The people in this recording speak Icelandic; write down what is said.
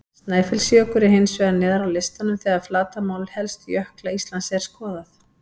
Snæfellsjökull er hins vegar neðar á listanum þegar flatarmál helstu jökla Íslands er skoðað.